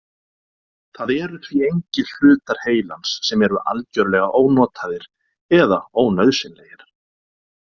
Það eru því engir hlutar heilans sem eru algjörlega ónotaðir eða ónauðsynlegir.